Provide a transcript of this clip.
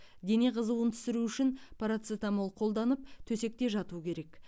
дене қызуын түсіру үшін парацетамол қолданып төсекте жату керек